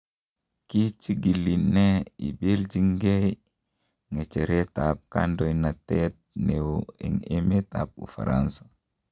Kichigili ne ibelijin ngei ngecheret ab kondoindet neo en emet ab Ufaransa.